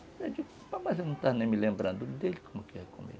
Eu disse, mas você não está nem me lembrando dele, como que é comigo?